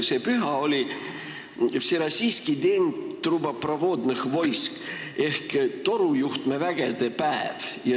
See püha oli vserossiiski den truboprovodnõh voisk ehk torujuhtmevägede päev.